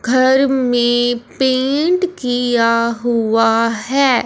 घर में पेंट किया हुआ है।